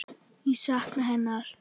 Ég sakna hennar.